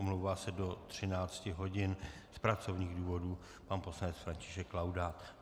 Omlouvá se do 13 hodin z pracovních důvodů pan poslanec František Laudát.